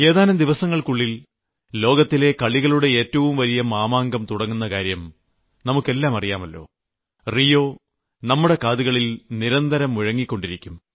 ഏതാനും ദിവസങ്ങൾക്കുള്ളിൽ ലോകത്തിലെ കളികളുടെ ഏറ്റവും വലിയ മാമാങ്കം തുടങ്ങുന്ന കാര്യം നമുക്കെല്ലാം അറിയാമല്ലോ റിയോ നമ്മുടെ കാതുകളിൽ നിരന്തരം മുഴങ്ങിക്കൊണ്ടിരിക്കും